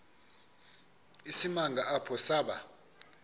isimanga apho saba